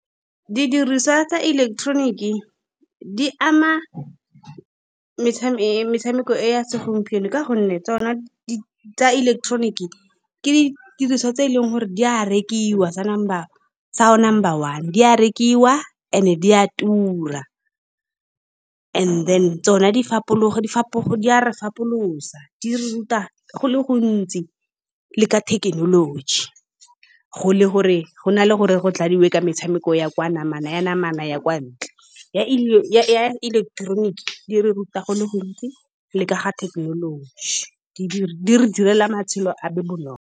Di diriswa tsa ileketeroniki di ama metshameko e ya segompieno, ka gonne tsone tsa ileketeroniki ke di diriswa tse e leng gore di a rekiwa, tsa number, tsa o number one, di a rekiwa and-e then di a tura and-e then, tsone di fapologa, di a re fapolosa, di re ruta go le gontsi le ka thekenoloji. Go le gore, go na le gore go dladiwe ka metshameko ya kwa namana, ya namana ya kwa ntle, ya ya-ya ileketeroniki di re ruta go le gontsi le ka ga thekenoloji, di-di-di re direla matshelo a be bonolo.